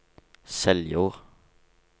Seljord